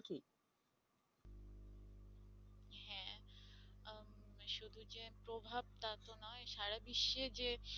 সারা বিশ্বে যে